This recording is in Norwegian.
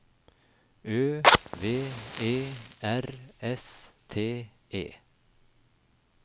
Ø V E R S T E